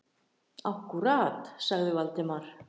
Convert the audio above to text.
Akkúrat- sagði Valdimar.